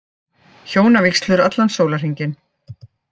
Hjónavígslur allan sólarhringinn